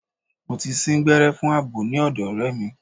Mo ti sín gbẹ́rẹ́ fún àbò ní ọ̀dọ̀ ọ̀rẹ́ mi.